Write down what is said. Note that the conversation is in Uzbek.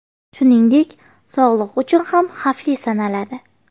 Shuningdek, sog‘liq uchun ham xavfli sanaladi.